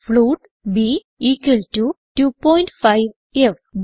float b equal to 25ഫ്